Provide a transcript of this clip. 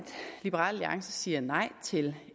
liberal alliance siger nej til